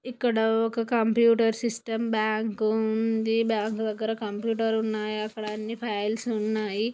ఇక్కడ ఒక computer system bank ఉంది బ్యాంకు దగ్గర కంప్యూటర్ ఉన్నాయి. అక్కడ అన్ని ఫైల్స్ ఉన్నాయి.